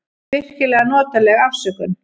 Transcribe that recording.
Virkilega notaleg afsökun.